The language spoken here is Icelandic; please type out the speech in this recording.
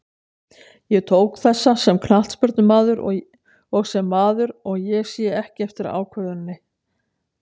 Ég tók þessa sem knattspyrnumaður og sem maður, og ég sé ekki eftir ákvörðuninni.